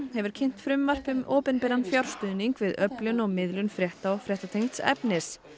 hefur kynnt frumvarp um opinberan fjárstuðning við öflun og miðlun frétta og fréttatengds efnis